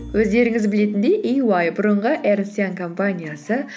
өздеріңіз білетінде иуай бұрынғы эрнест янг компаниясы